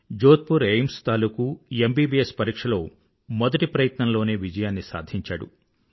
Jodhpur AIIMS తాలూకూ MBBS పరీక్షలో మొదటి ప్రయత్నంలోనే విజయాన్ని సాధించాడు